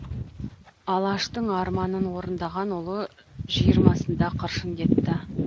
алаштың арманын орындаған ұлы жиырмасында қыршын кетті